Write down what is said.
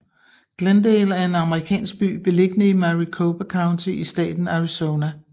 Glendale er en amerikansk by beliggende i Maricopa County i staten Arizona